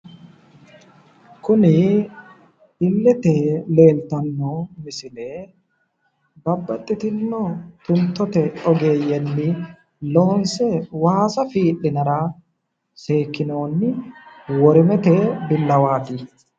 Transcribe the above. Kuni illete leeltanno misile babbaxitinno tuntote ogeeyyenni loonse waasa fii'linara seekkinoonni worimete billawaati.